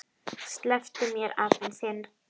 SLEPPTU MÉR, APINN ÞINN!